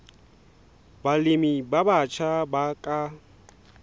balemi ba batjha ba ka